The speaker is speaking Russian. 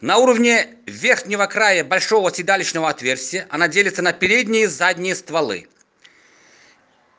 на уровне верхнего края большого седалищного отверстия оно делится на передние и задние стволы